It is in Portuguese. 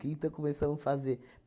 Que então começamos fazer?